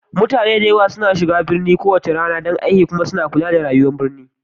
Mutane da yawa suna tafiya birni kowace rana don aiki kuma suna kula da rayuwar birni